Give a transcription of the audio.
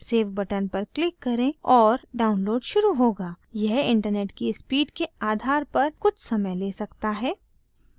save button पर click करें और download शुरू होगा यह internet की speed के आधार पर कुछ समय ले सकता है